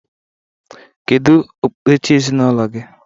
Kedu okpukperechi ezinaụlọ gị?